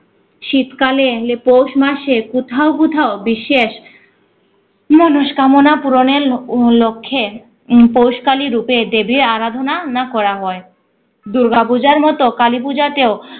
শীতকালে লে পৌষ মাসে কোথাও কোথাও বিশেষ মনোষ্কামনা পূরণের ল~ আহ লক্ষে উম পৌষ কালী রূপে দেবীর আরাধনা না করা হয়। দুর্গাপূজার মতো কালীপূজা তেও